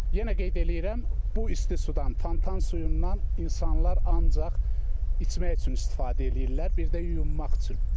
Yenə qeyd eləyirəm, bu isti sudan, fontan suyundan insanlar ancaq içmək üçün istifadə eləyirlər, bir də yuyunmaq üçün.